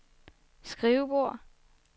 skrivebord